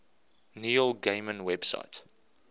neil gaiman website